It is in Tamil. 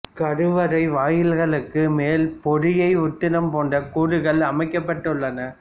கருவறை வாயில்களுக்கு மேல் போதிகை உத்தரம் போன்ற கூறுகள் அமைக்கப்பட்டு உள்ளன